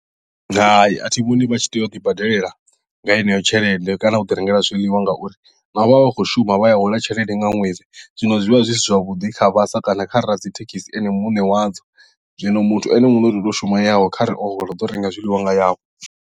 Hai athi vhoni vha tshi tea u tou ḓi badelela nga heneyo tshelede kana uḓi rengela zwiḽiwa ngauri vha vha vha khou shuma vha ya hola tshelede nga ṅwedzi zwino zwi vha zwi si zwavhuḓi kha vhasa kana kha radzithekhisi ene muṋe wadzo zwino muthu ene muṋe u ḓoto shuma yawe kharali o hola uḓo renga nga yawe.